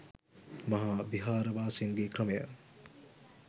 මහා විහාර වාසීන්ගේ ක්‍රමය